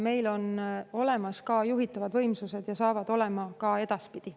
Meil on ka olemas juhitavad võimsused ja saavad olema ka edaspidi.